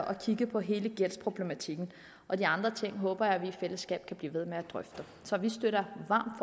at kigge på hele gældsproblematikken og de andre ting håber jeg vi i fællesskab kan blive ved med at drøfte så vi støtter varmt